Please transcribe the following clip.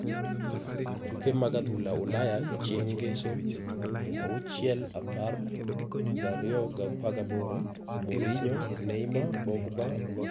Tuke mag adhula Ulaya chieng' Ngeso 06.10.2018: Mourinho, Neymar, Pogba, Loftus-Cheek, Fabregas, Cahill